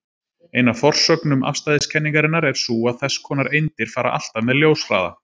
Ein af forsögnum afstæðiskenningarinnar er sú að þess konar eindir fara alltaf með ljóshraða.